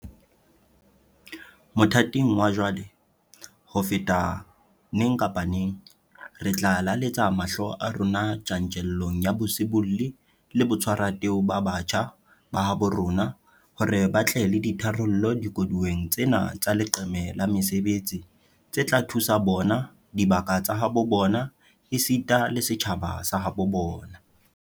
Mothating wa jwale, ho feta neng kapa neng, re tla lelaletsa mahlo a rona tjantjellong ya bosibolli le botshwarateu ba batjha ba habo rona hore ba tle le ditharollo dikoduweng tsena tsa leqeme la mesebetsi tse tla thusa bona, dibaka tsa habo bona esita le setjhaba sa habo bona.